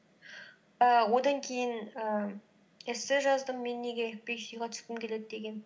ііі одан кейін ііі эссе жаздым мен неге түскім келеді деген